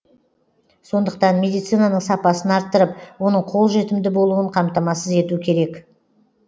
сондықтан медицинаның сапасын арттырып оның қолжетімді болуын қамтамасыз ету керек